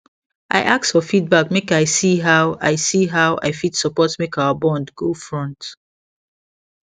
i ask for feedback make i see how i see how i fit support make our bond go front